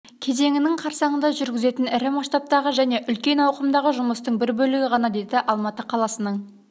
кезеңінің қарсаңында жүргізетін ірі масштабтағы және үлкен ауқымдағы жұмыстың бір бөлігі ғана деді алматы қаласының